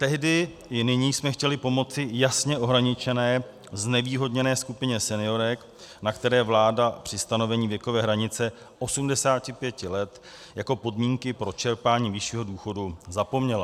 Tehdy i nyní jsme chtěli pomoci jasně ohraničené znevýhodněné skupině seniorek, na které vláda při stanovení věkové hranice 85 let jako podmínky pro čerpání vyššího důchodu zapomněla.